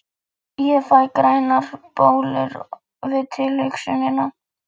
Ég fæ grænar bólur við tilhugsunina!